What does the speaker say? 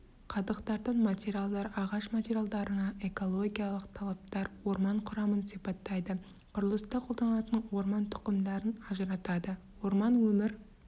қадықтардан материалдар ағаш материалдарына экологиялық талаптар орман құрамын сипаттайды құрылыста қолданылатын орман тұқымдарын ажыратады орман өмір